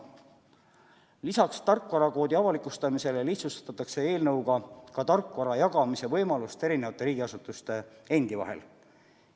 Lisaks tarkvarakoodi avalikustamisele lihtsustatakse eelnõuga ka tarkvara jagamise võimalust riigiasutuste endi vahel.